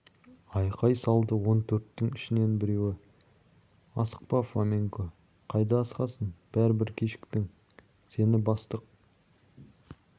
айқай салды он төрттің ішінен біреуі асықпа фоменко қайда асығасың бәрібір кешіктің сені бастық